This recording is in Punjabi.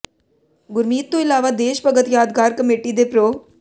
ਗੁਰਮੀਤ ਤੋਂ ਇਲਾਵਾ ਦੇਸ਼ ਭਗਤ ਯਾਦਗਾਰ ਕਮੇਟੀ ਦੇ ਪ੍ਰੋ